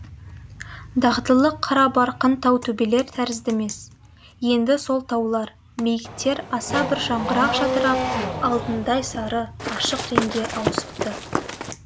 дағдылы қарабарқын тау төбелер тәрізді емес енді сол таулар биіктер аса бір жаңғыра жадырап алтындай сары ашық реңге ауысыпты